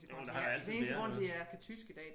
Jo men der har altid været noget